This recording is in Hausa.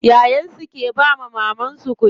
Yayan su ke bawa mamar su kuɗi.